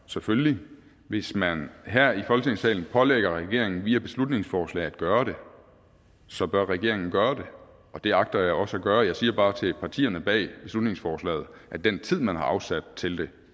selvfølgelig hvis man her i folketingssalen pålægger regeringen via beslutningsforslag at gøre det så bør regeringen gøre det og det agter jeg også at gøre jeg siger bare til partierne bag beslutningsforslaget at den tid man har afsat til det